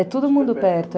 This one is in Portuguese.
É, é todo mundo perto.